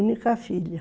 Única filha.